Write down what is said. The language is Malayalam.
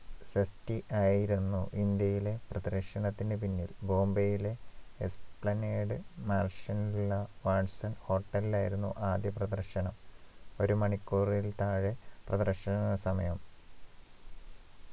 ഷെട്ടി ആയിരുന്നു ഇന്ത്യയിലെ പ്രദർശനത്തിന് പിന്നിൽ ബോംബയിലെ Esplanade Mansion ള watson hotel ൽ ആയിരുന്നു ആദ്യ പ്രദർശനം ഒരു മണിക്കൂറിൽ താഴെ പ്രദർശന സമയം